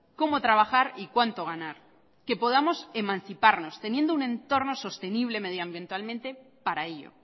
cómo trabajar y cuánto ganar que podamos emanciparnos teniendo un entorno sostenible medioambientalmente para ello